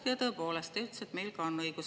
Nojah, tõepoolest, te ütlesite, et meil on ka õigus.